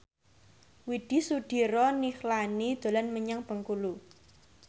Widy Soediro Nichlany dolan menyang Bengkulu